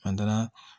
An taara